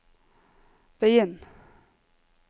begynn